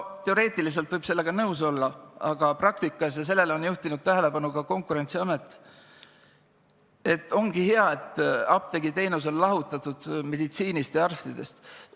Teoreetiliselt võib sellega nõus olla, aga praktikas – ja sellele on juhtinud tähelepanu ka Konkurentsiamet, et see ongi hea – on apteegiteenus meditsiinist ja arstidest lahutatud.